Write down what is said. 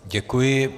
Děkuji.